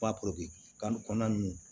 Ba kan ni kɔnɔna nunnu